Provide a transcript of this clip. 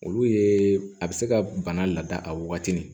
Olu ye a bɛ se ka bana laada a wagati ni